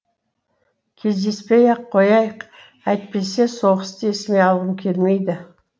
кездеспей ақ қояйық әйтпесе соғысты есіме алғым келмейді